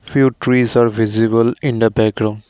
few trees are visible in the background.